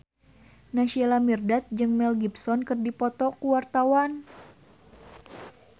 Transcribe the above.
Naysila Mirdad jeung Mel Gibson keur dipoto ku wartawan